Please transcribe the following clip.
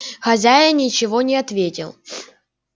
хозяин ничего не ответил